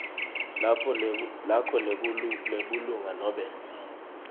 lakho lebulunga nobe